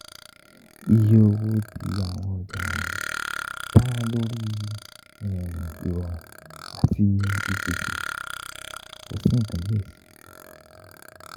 Iye owo ti awọn ọja wọnyi da lori irọrun ati ipese, ko si nkankan diẹ sii.